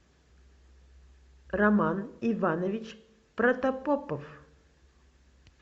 роман иванович протопопов